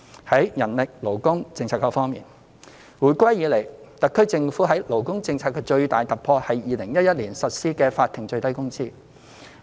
在人力勞工政策方面，回歸以來，特區政府在勞工政策方面的最大突破是在2011年實施法定最低工資。